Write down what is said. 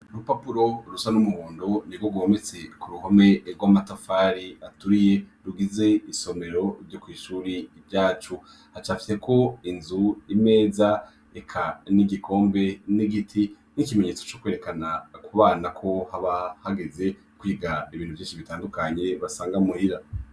Rupapuro rusa n'umuhondo ni go gometse ku ruhome ebwa amatafari aturiye rugize isomero ryokw'ishuri ivyacu hacafiyeko inzu imeza eka n'igikombe n'igiti n'ikimenyetso co kwerekana kubana ko haba hageze kwigada ibintu vyinshi bitandukanye basanga mwrira.